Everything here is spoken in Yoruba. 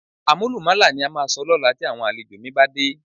Àmúlùmálà ni a máa sọ lọ́la tí àwọn àlejò mi bá dé